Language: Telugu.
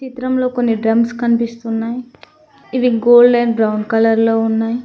ఈ చిత్రంలో కొన్ని డ్రమ్స్ కనిపిస్తున్నాయి ఇవి గోల్డ్ అండ్ బ్రౌన్ కలర్ లో ఉన్నాయి.